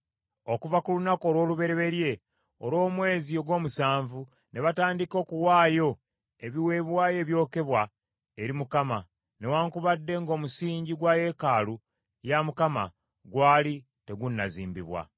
Okuva ku lunaku olw’olubereberye olw’omwezi ogw’omusanvu ne batandika okuwaayo ebiweebwayo ebyokebwa eri Mukama , newaakubadde ng’omusingi gwa yeekaalu ya Mukama gwali tegunnazimbibwa.